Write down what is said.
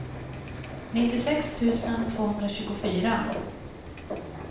nittiosex tusen tvåhundratjugofyra